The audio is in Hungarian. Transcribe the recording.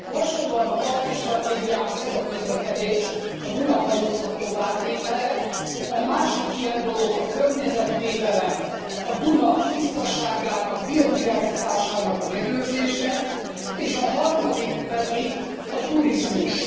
Hasonlóan a balti stratégiához ez a közlekedés, a Duna hajózhatóvá tétele, a másik ilyen dolog a környezetvédelem, a Duna tisztaságának, biodiverzitásának a megőrzése, és a harmadik pedig a turizmus.